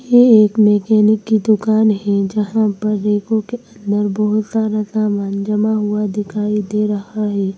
ये एक मैकेनिक की दुकान है जहां पर रैकों के अंदर बहोत सारा सामान जमा हुआ दिखाई दे रहा है।